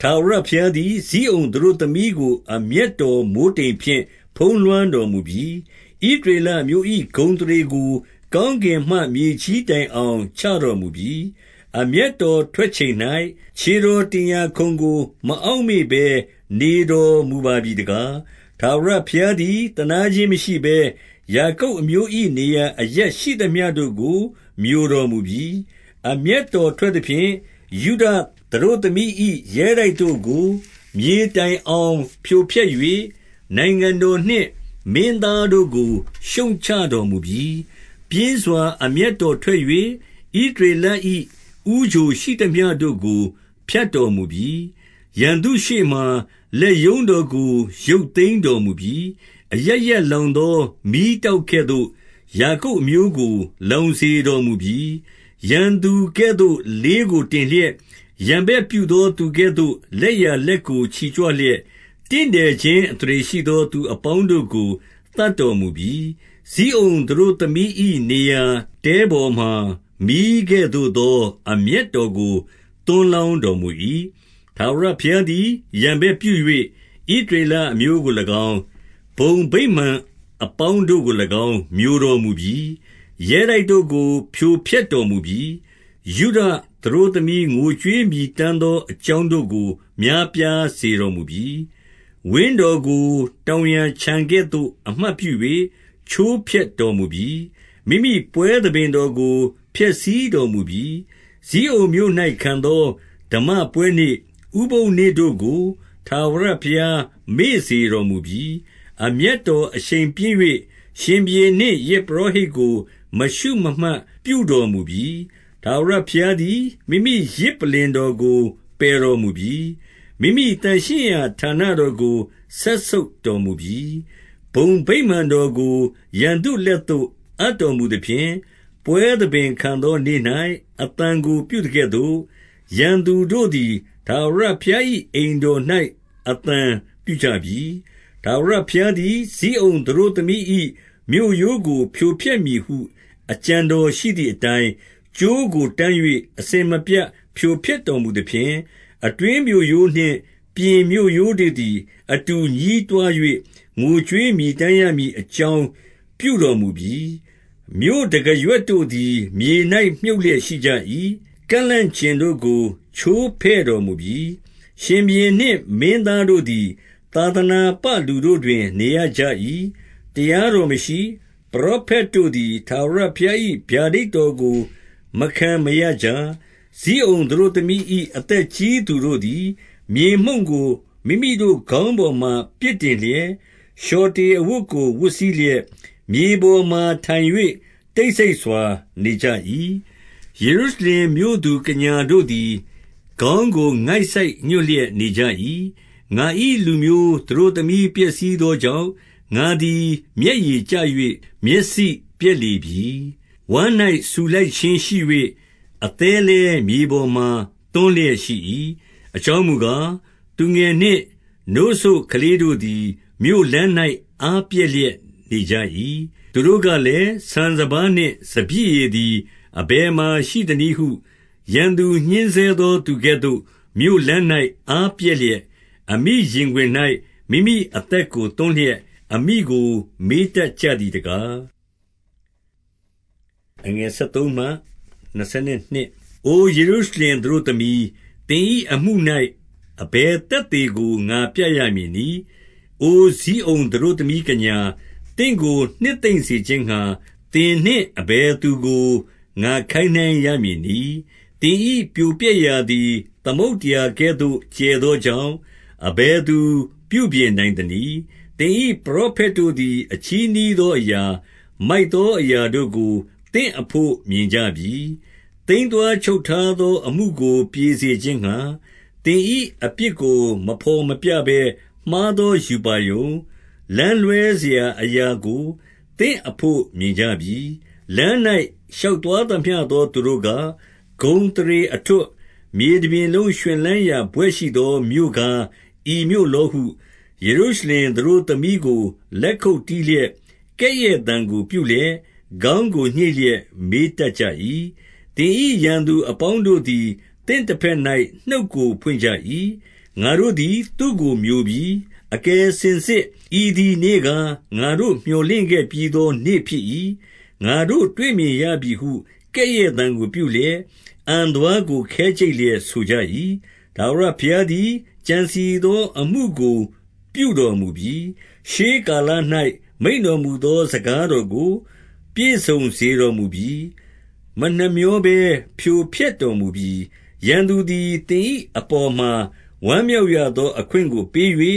ထာဝရဘုရားသည် ဇိအုန်သတို့သမီးကို အမျက် တော် မိုဃ်းတိမ်ဖြင့် ဖုံးလွှမ်းတော်မူပြီ။ ဣသရေလအမျိုး ၏ ဂုဏ်အသရေကို ကောင်းကင်မှမြေကြီးတိုင်အောင် ချတော်မူပြီ။ အမျက်တော်ထွက်ချိန်၌ ခြေတော်တင် ရာခုံကို မအောက်မေ့ဘဲနေတော်မူပါပြီတကား။ 2 ထာဝရဘုရားသည် သနားခြင်းမရှိဘဲ၊ ယာကုပ် အမျိုး၏နေရာ အရပ်ရှိသမျှတို့ကို မျိုတော်မူပြီ။ အမျက် တော်ထွက်သဖြင့် ယုဒသတို့သမီး၏ရဲတိုက်တို့ကို မြေတိုင် အောင်ဖြိုဖျက်၍၊ နိုင်ငံတော်နှင့်မင်းသားတို့ကို ရှုတ်ချ တော်မူပြီ။ 3 ပြင်းစွာ အမျက်တော်ထွက်၍၊ ဣသရေလ၏ ဦးချို ရှိသမျှတို့ကို ဖြတ်တော်မူပြီ။ ရန်သူရှေ့မှာ လက်ရုံး တော်ကို ရုပ်သိမ်းတော်မူပြီ။ အရပ်ရပ်လောင်သော မီးတောက်ကဲ့သို့ ယာကုပ်အမျိုးကို လောင်စေတော်မူပြီ။ 4 ရန်သူကဲ့သို့ လေးကိုတင်လျက်၊ ရန်ဘက်ပြုသော သူကဲ့သို့ လက်ျာလက်ကို ချီကြွလျက်၊ တင့်တယ်ခြင်း အသရေရှိသော သူအပေါင်းတို့ကို သတ်တော်မူပြီ။ ဇိအုန် သတို့သမီး၏နေရာ တဲပေါ်မှာမီးကဲ့သို့သော အမျက် တော်ကို သွန်းလောင်းတော်မူ၏။ 5 ထာဝရဘုရားသည် ရန်ဘက်ပြု၍၊ ဣသရေလအမျိုးကို၎င်း၊ ဘုံဗိမာန်အပေါင်းတို့ကို၎င်း မျိုတော်မူပြီ။ ရဲတိုက်တို့ကို ဖြိုဖျက်တော်မူပြီ။ ယုဒ သတို့သမီး ငိုကြွေးမြည်တမ်းသောအကြောင်းတို့ကို များပြားစေတော်မူပြီ။ 6 ဝင်းတော်ကို တောင်ယာခြံကဲ့သို့ အမှတ်ပြု၍ ချိုးဖျက်တော်မူပြီ။ မိမိပွဲသဘင်တော်ကို ဖျက်ဆီးတော် မူပြီ။ ဇိအုန်မြို့၌ခံသော ဓမ္မပွဲနေ့၊ ဥပုသ်နေ့တို့ကို ထာဝရ ဘုရား မေ့စေတော်မူပြီ။ အမျက်တော်အရှိန်ပြင်း၍ ရှင်ဘုရင်နှင့်ယဇ်ပုရောဟိတ်ကို မရှုမမှတ်ပြုတော်မူပြီ။ 7 ထာဝရဘုရားသည် မိမိယဇ်ပလ္လင်တော်ကို ပယ်တော်မူပြီ။ မိမိသန့်ရှင်းရာဌာနတော်ကို စက်ဆုပ် တော်မူပြီ။ ဘုံဗိမာန်တော်ကို ရန်သူလက်သို့ အပ်တော် မူသဖြင့်၊ ပွဲသဘင်ခံသောနေ့၌ အသံပြုသကဲ့သို့၊ ရန်သူတို့ သည်ထာဝရဘုရား၏ အိမ်တော်၌အသံပြုကြပြီ။ 8 ထာဝရဘုရားသည် ဇိအုန်သတို့သမီး၏မြို့ရိုးကို ဖြိုဖျက်မည်ဟု အကြံတော်ရှိသည်အတိုင်း၊ ကြိုးကိုတန်း၍ အစဉ်မပြတ် ဖြိုဖျက်တော်မူသဖြင့်၊ အတွင်းမြို့ရိုးနှင့် ပြင်မြို့ရိုးတို့သည် အတူညည်းတွား၍ ငိုကြွေးမြည်တမ်းရ မည် အကြောင်းပြုတော်မူပြီ။ 9 မြို့တံခါးရွက်တို့သည် မြေ၌မြှုပ်လျက်ရှိကြ၏။ ကန့်လန့်ကျင်တို့ကို ချိုးဖဲ့တော်မူပြီ။ ရှင်ဘုရင်နှင့် မင်းသားတို့သည် သာသနာပလူတို့တွင် နေရကြ၏။ တရားတော်မရှိ။ ပရောဖက်တို့သည် ထာဝရဘုရား၏ ဗျာဒိတ်တော်ကို မခံမရကြ။ 10 ဇိအုန်သတို့သမီး၏ အသက်ကြီးသူတို့သည် မြေမှုန့်ကိုမိမိတို့ ခေါင်းပေါ်မှာပစ်တင်လျက်၊ လျှော်တေ အဝတ်ကို ဝတ်စည်းလျက်၊ မြေပေါ်မှာထိုင်၍ တိတ်ဆိတ် စွာ နေကြ၏။ ယေရုရှလင်မြို့သူကညာတို့သည် ခေါင်း ကိုငိုက်ဆိုက်ညွှတ်လျက်နေကြ၏။ 11 ငါ၏လူမျိုးသတို့သမီးပျက်စီးသောကြောင့်၊ ငါသည် မျက်ရည်ကျ၍မျက်စိပျက်လေပြီ။ ဝမ်း၌ဆူလှိုက် ခြင်းရှိ၍ အသည်းလည်းမြေပေါ်မှာ သွန်းလျက်ရှိ၏။ အကြောင်းမူကား၊ သူငယ်နှင့်နို့စို့ကလေးတို့သည် မြို့လမ်း၌အား ပျက်လျက်နေကြ၏။ 12 သူတို့ကလည်း၊ ဆန်စပါးနှင့်စပျစ်ရည်သည် အဘယ်မှာရှိသနည်းဟု၊ ရန်သူညှဉ်းဆဲသော သူကဲ့သို့ မြို့လမ်း၌အားပျက်လျက်၊ အမိရင်ခွင်၌ မိမိအသက်ကို သွန်းလျက်၊ အဓိက မေးတတ်ကြသည်တကား။ 13 အိုယေရုရှလင်သတို့သမီး၊ သင်၏အမှု၌ အဘယ်သက်သေကို ငါပြရမည်နည်း။ အိုဇိအုန်သတို့ သမီးကညာ၊ သင့်ကိုနှစ်သိမ့်စေခြင်းငှါ၊ သင်နှင့်အဘယ် သူကို ငါခိုင်းနှိုင်းရမည်နည်း။ သင်၏ပြိုပျက်ရာသည် သမုဒ္ဒရာကဲ့သို့ ကျယ်သောကြောင့် အဘယ်သူ ပြုပြင်နိုင် သနည်း။ 14 သင်၏ပရောဖက်တို့သည် အချည်းနှီးသော အရာ၊ မိုက်သောအရာတို့ကို သင်အဘို့မြင်ကြပြီ။ သိမ်းသွားချုပ်ထားသော အမှုကိုပြေစေခြင်းငှါ၊ သင်၏ အပြစ်ကိုမဘော်မပြဘဲ မှားသောရူပါရုံ၊ လမ်းလွဲစရာ အရာကို သင့်အဘို့မြင်ကြပြီ။ 15 လမ်း၌ ရှောက်သွားသမျှသောသူတို့က၊ ဂုဏ်သရေအထွဋ်၊ မြေ တပြင်လုံး ရွှင်လန်းရာဘွဲ့ရှိသော မြို့ကားဤမြို့လောဟု၊ ယေရုရှလင်သတို့သမီးကို လက်ခုပ်တီးလျက်၊ ကဲ့ရဲ့သံကိုပြုလျက်၊ ခေါင်းကို ညှိတ်လျက် မေးတတ်ကြ၏။ 16 သင်၏ရန်သူအပေါင်းတို့သည် သင့်တဘက်၌ နှုတ်ကို ဖွင့်ကြ၏။ ငါတို့သည် သူ့ကိုမျိုပြီ။ အကယ်စင်စစ် ဤသည်နေ့ကား၊ ငါတို့မြော်လင့်ခဲ့ ပြီးသောနေ့ဖြစ်၏။ ငါတို့တွေ့မြင်ရပြီဟု ကဲ့ရဲ့သံကိုပြုလျက်၊ အံသွားကို ခဲကြိတ်လျက် ဆိုကြ၏။ 17 ထာဝရဘုရားသည် ကြံစည်သောအမှုကို ပြုတော်မူပြီ။ ရှေးကာလ၌ မိန့်တော်မူသော စကား တော်ကို ပြည့်စုံစေတော်မူပြီ။ မနှမြောဘဲဖြိုဖျက်တော် မူပြီ။ ရန်သူသည် သင်၏အပေါ် မှာဝမ်းမြောက်ရသော အခွင့်ကို ပေး၍၊